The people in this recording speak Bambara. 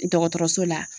Dɔgɔtɔrɔso la